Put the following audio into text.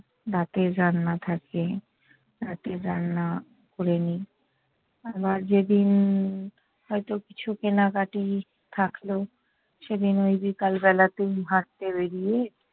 রাতের রান্না থাকে, রাতের রান্না করে নিই। আবার যেদিন হয়ত কিছু কেনাকাটি থাকলো, সেদিন ওই বিকাল বেলাতেই হাঁটতে বেড়িয়ে-